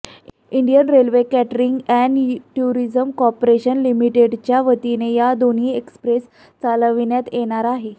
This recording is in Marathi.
Indian Railway Catering and Tourism Corporation लिमिटेडच्या वतीने या दोन्ही एक्सप्रेस चालविण्यात येणार आहेत